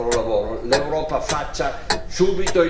L'Europa faccia subito il necessario.